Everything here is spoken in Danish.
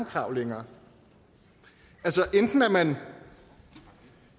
krav længere altså enten er man